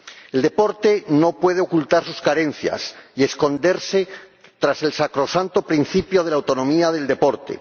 El deporte no puede ocultar sus carencias y esconderse tras el sacrosanto principio de la autonomía del deporte.